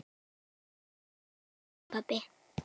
Til þín, elsku pabbi.